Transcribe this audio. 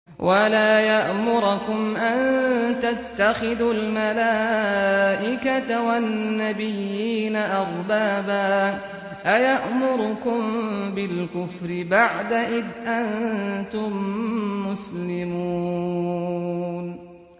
وَلَا يَأْمُرَكُمْ أَن تَتَّخِذُوا الْمَلَائِكَةَ وَالنَّبِيِّينَ أَرْبَابًا ۗ أَيَأْمُرُكُم بِالْكُفْرِ بَعْدَ إِذْ أَنتُم مُّسْلِمُونَ